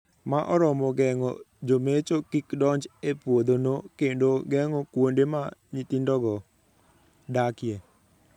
Ma oromo geng'o jomecho kik donj e puodhono kendo geng'o kuonde ma nyithindogo dakie.